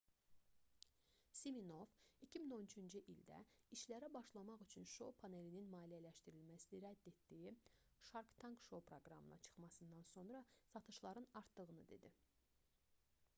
siminoff 2013-cü ildə işlərə başlamaq üçün şou panelinin maliyyələşdirilməsini rədd etdiyi shark tank şou proqramına çıxmasından sonra satışların artdığını dedi